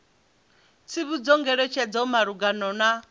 tsivhudzo ngeletshedzo malugana na u